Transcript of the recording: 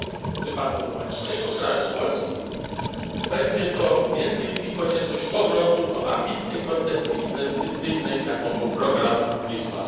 W przypadku mojego kraju, Polski, będzie to między innymi konieczność powrotu do ambitnej koncepcji inwestycyjnej, jaką był program Wisła.